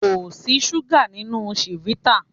Kò sí súgà nínú chivita.